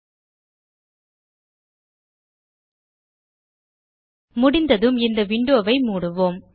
ல்ட்பாஸ் போர் 10 செகண்ட்ஸ்க்ட் முடிந்ததும் இந்த விண்டோ வை மூடுவோம்